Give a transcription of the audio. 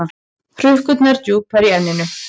Hrukkurnar djúpar í enninu.